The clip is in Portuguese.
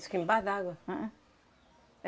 que embaixo da água? Ahn, ahn,